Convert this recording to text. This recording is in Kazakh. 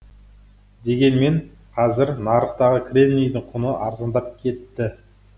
дегенмен қазір нарықтағы кремнийдің құны арзандап кетті